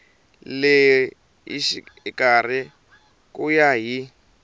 le xikarhi ku ya hi